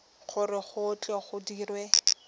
gore go tle go dirwe